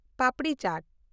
papdi ᱪᱟᱴ